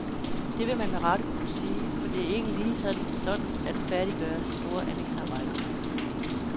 Det vil man med rette kunne sige, for det er ikke lige sådan at færdiggøre store anlægsarbejder.